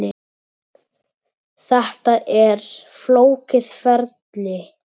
Þetta er flókið ferli.